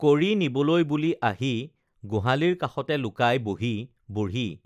কৰি নিবলৈ বুলি আহি গোহালিৰ কাষতে লুকাই বহি বুঢ়ী